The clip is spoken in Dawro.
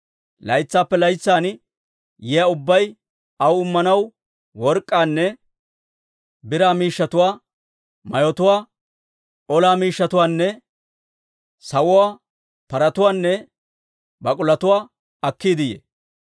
Laytsaappe laytsan yiyaa ubbay aw Immanaw work'k'aanne biraa miishshatuwaa, mayotuwaa, ola miishshatuwaanne sawuwaa, paratuwaanne bak'ulotuwaa akkiide yee.